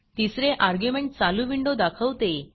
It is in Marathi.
तिसरे अर्ग्युमेंट चालू विंडो दाखवते